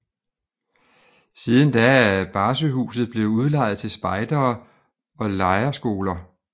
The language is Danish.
Siden da er Barsøhuset blevet udlejet til spejdere og lejerskoler